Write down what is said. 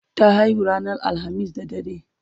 ta haihu ranar alhamis da dare